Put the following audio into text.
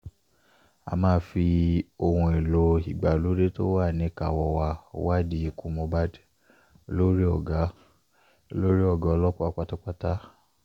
a máa fi ohun èèlò ìgbàlódé tó wà níkàáwọ́ wa wádìí ikú mohbad olórin ọ̀gá olórin ọ̀gá ọlọ́pàá pátápátá